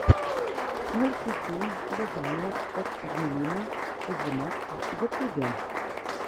мультфильм вязания от ангелины озимок в ютубе